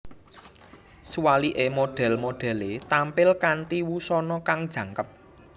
Suwalike model modele tampil kanthi wusana kang jangkep